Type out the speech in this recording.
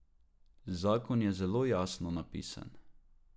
Zakon je zelo jasno napisan.